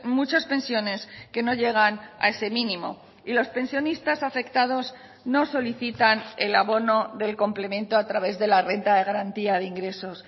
muchas pensiones que no llegan a ese mínimo y los pensionistas afectados no solicitan el abono del complemento a través de la renta de garantía de ingresos